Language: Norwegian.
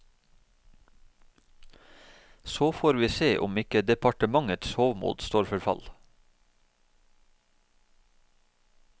Så får vi se om ikke departementets hovmod står for fall.